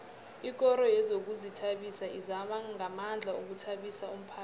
ikoro yezokuzithabisa izama ngamandla ukuthabisa umphakhathi